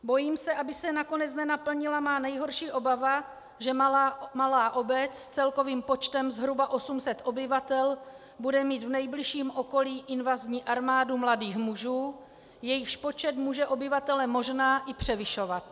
Bojím se, aby se nakonec nenaplnila má nejhorší obava, že malá obec s celkovým počtem zhruba 800 obyvatel bude mít v nejbližším okolí invazní armádu mladých mužů, jejichž počet může obyvatele možná i převyšovat.